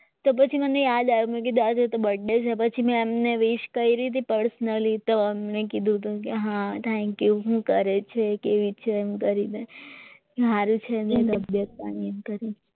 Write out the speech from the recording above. કે પછી મને યાદ આવ્યું કે આજે તો બર્થ ડે છે પછી મેં એમને પીસ કરી હતી પર્સનલી તો મેં કીધું કે હા થેન્ક્યુ શું કરે છે કેવી છે એમ કરીને મારે છે તબિયત પાણી એમ કરીને